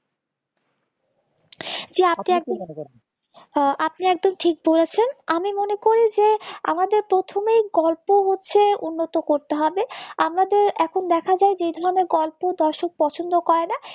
যে আপনি আপনি একদম ঠিক বলেছেন আমি মনে করি যে আমাদের প্রথমেই গল্প হচ্ছে উন্নত করতে হবে আমাদের এখন দেখা যায় যে ধরনের গল্প দর্শক পছন্দ করে না